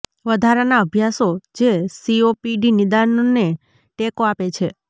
વધારાના અભ્યાસો જે સીઓપીડી નિદાનને ટેકો આપે છે